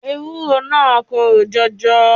Ewúro naa korò jọjọ.